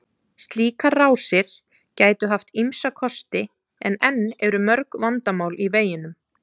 Slíkar rásir gætu haft ýmsa kosti en enn eru mörg vandamál í veginum.